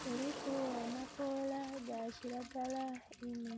Kuliku amakoola ga kiragala inho.